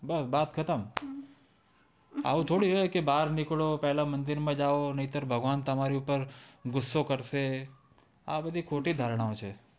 બસ બાત ખતમ આવું થોડું હોય કે બાર નિકલો પેલા મંદિર માં જાવ ન્યતર આમ તમારી ઉપર ઘૂસો કરતો છે આ બધી ખોટી ધારણાઓ છે